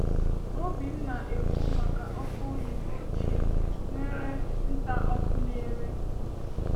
Obím na-ekwu maka ọkụ oyibo ochie nwere ntà ọkụ na-ere.